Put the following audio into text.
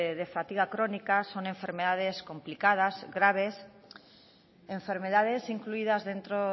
de fatiga crónica son enfermedades complicadas graves enfermedades incluidas dentro